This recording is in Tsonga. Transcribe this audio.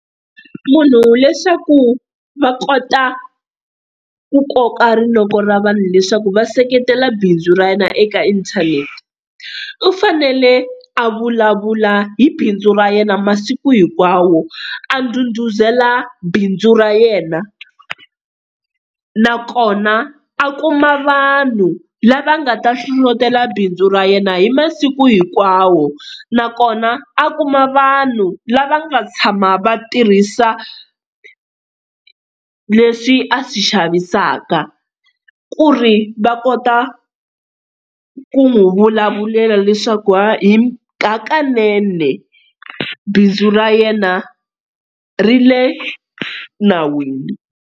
Munhu leswaku va kota ku koka rinoko ra vanhu leswaku va seketela bindzu ra yena eka inthanete, u fanele a vulavula hi bindzu ra yena masiku hinkwawo a ndhudhuzela bindzu ra yena, nakona a kuma vanhu lava nga ta hlohlotela bindzu ra yena hi masiku hinkwawo. Nakona a kuma vanhu lava nga tshama va tirhisa leswi a swi xavisaka ku ri va kota ku n'wi vulavulela leswaku ha hi hakanene bindzu ra yena ri le nawini.